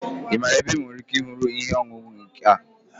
Ị maara ebe m nwere ike ịhụ ihe ọṅụṅụ ike a?